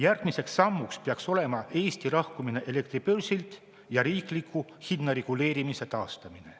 Järgmiseks sammuks peaks olema Eesti lahkumine elektribörsilt ja riikliku hinnareguleerimise taastamine.